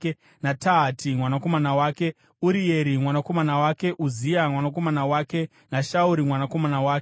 naTahati mwanakomana wake, Urieri mwanakomana wake, Uzia mwanakomana wake naShauri mwanakomana wake.